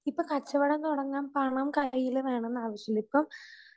ഇപ്പം കച്ചവടം തുടങ്ങാൻ പണം കയ്യിൽ വേണോന്നാവശ്യമില്ല. ഇപ്പം